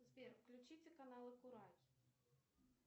сбер включите каналы курай